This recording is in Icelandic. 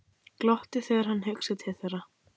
Glotti þegar hann hugsaði til þeirra.